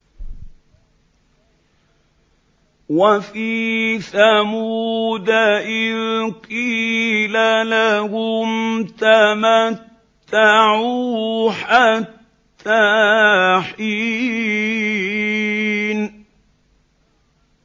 وَفِي ثَمُودَ إِذْ قِيلَ لَهُمْ تَمَتَّعُوا حَتَّىٰ حِينٍ